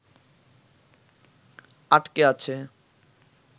আটকে আছে